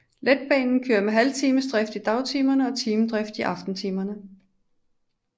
Letbanen kører med halvtimesdrift i dagtimerne og timedrift i aftentimerne